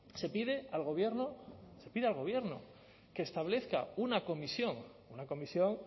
se pide al gobierno se pide al gobierno que establezca una comisión una comisión